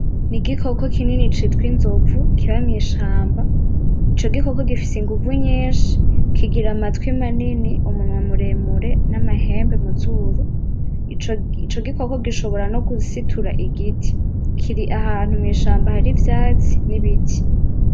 N'igikoko kinini citwa inzovu kiba mwishamba ico gikoko; gifise inguvu nyishi, kigira matwi manini ,umunwa muremure n'amahembe muzuru ico gikoko gishobora nogusitura igiti kiri ahantu mwishamba hari ivyatsi n'ibiti.